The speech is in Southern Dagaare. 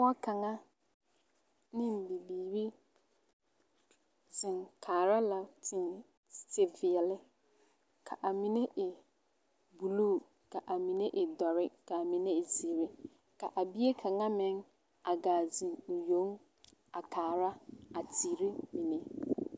Pɔge kaŋa ne bibiiri zeŋ kaara la teveɛle ka a mine e buluu ka amine e dɔre k'a mine e zeere ka a bie kaŋa meŋ a gaa zeŋ o yoŋ a kaara a teere mine.